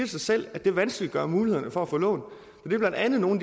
sig selv at det vanskeliggør mulighederne for at få lån det er blandt andet nogle